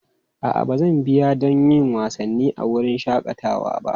A'a, ban biya don yin wasanni a wurin shakatawan ba.